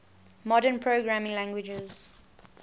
modern programming languages